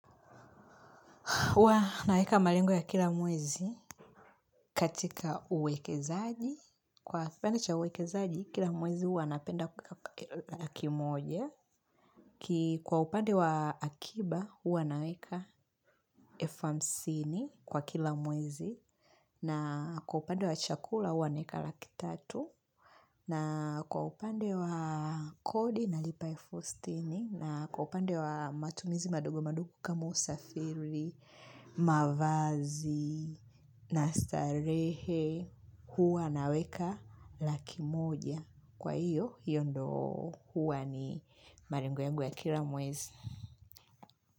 Huwa naweka malengo ya kila mwezi katika uwekezaji. Kwa kipande cha uwekezaji, kila mwezi huwa napenda kuweka laki moja Kwa upande wa akiba, huwa naweka elfu hamsini kwa kila mwezi. Na kwa upande wa chakula, huwa naweka laki tatu. Na kwa upande wa kodi nalipa elfu sitini. Na kwa upande wa matumizi madogo madogo kama usafiri, mavazi, na starehe, huwa naweka laki moja. Kwa hiyo, hiyo ndio huwa ni malengo yangu ya kila mwezi.